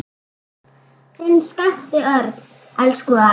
Þinn Skapti Örn. Elsku afi.